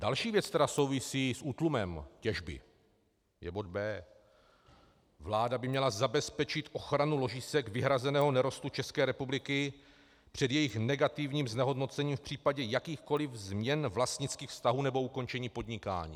Další věc, která souvisí s útlumem těžby, je bod B. Vláda by měla zabezpečit ochranu ložisek vyhrazeného nerostu České republiky před jejich negativním znehodnocením v případě jakýchkoliv změn vlastnických vztahů nebo ukončení podnikání.